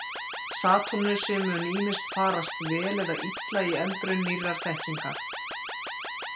Satúrnusi mun ýmist farast vel eða illa í eldraun nýrrar þekkingar.